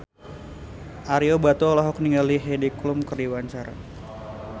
Ario Batu olohok ningali Heidi Klum keur diwawancara